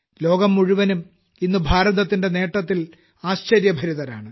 ലോകം മുഴുവനും ഇന്ന് ഭാരതത്തിന്റെ നേട്ടത്തിൽ ആശ്ചര്യഭരിതരാണ്